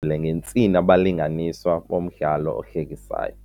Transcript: le ngentsini abalinganiswa bomdlalo ohlekisayo.